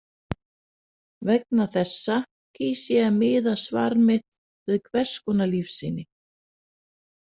Vegna þessa kýs ég að miða svar mitt við hvers konar lífsýni.